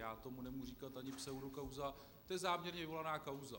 Já tomu nemůžu říkat ani pseudokauza, je to záměrně vyvolaná kauza.